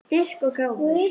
Styrk og gáfur.